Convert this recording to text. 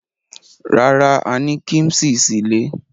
Rárá, a ní kíḿṣì sílé.